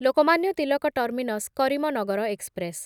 Lokmanya Tilak terminus Karimnagar express